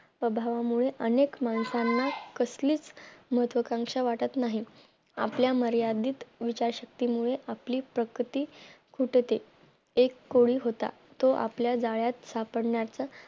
अभामुळे अनेक माणसांना कसलीच महत्वकांक्षा वाटत नाही आपल्या मर्यादित विचार शक्तीमुळे आपली प्रकृती फुटते एक कोळी होता तो आपल्या जाळ्यात सापडणेचा